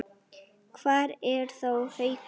Hvar er þá Haukur?